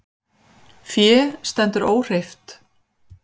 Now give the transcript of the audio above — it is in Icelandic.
Fé stendur óhreyft